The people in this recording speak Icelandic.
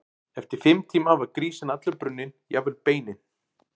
Eftir fimm tíma var grísinn allur brunninn, jafnvel beinin.